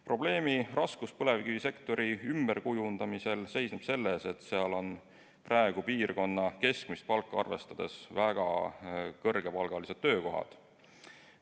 Probleemi raskus põlevkivisektori ümberkujundamisel seisneb selles, et seal on praegu piirkonna keskmist palka arvestades väga kõrgepalgalised töökohad.